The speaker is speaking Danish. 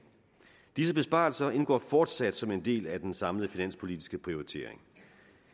disse besparelser indgår fortsat som en del af den samlede finanspolitiske prioritering